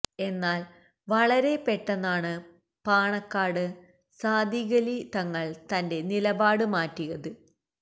എന്നാൽ വളരെ പെട്ടെന്നാണ് പാണക്കാട് സാദിഖലി തങ്ങൾ തന്റെ നിലപാട് മാറ്റിയത്